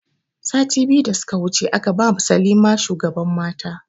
Sati biyu da suka wuce aka ba ma salima shugaban mata